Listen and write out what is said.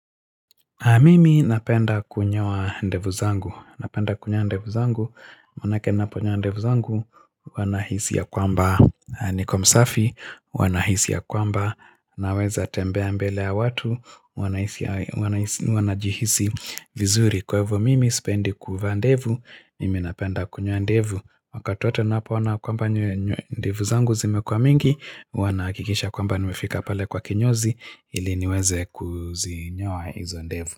Mimi napenda kunyoa ndevu zangu, napenda kunyoa ndevu zangu, manake naponyoa ndevu zangu, huwa nahisi ya kwamba niko msafi, huwa nahisi ya kwamba naweza tembea mbele ya watu, huwa najihisi vizuri. Kwa hivyo mimi sipendi kuvaa ndevu, mimi napenda kunyoa ndevu Wakati watu wanapo ona kwamba ndevu zangu zimekua mingi huwa na hakikisha kwamba nimefika pale kwa kinyozi ili niweze kuzinyoa hizo ndevu.